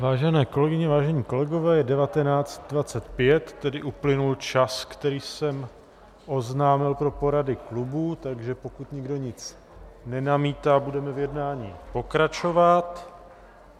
Vážené kolegyně, vážení kolegové, je 19.25, tedy uplynul čas, který jsem oznámil pro porady klubů, takže pokud nikdo nic nenamítá, budeme v jednání pokračovat.